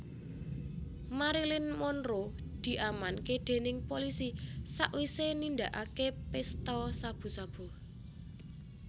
Marilyn Monroe diamanke dening polisi sakwise nindakake pesta sabu sabu